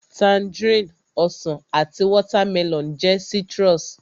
Tangerine, Ọsàn àti watermelon jẹ́ citrus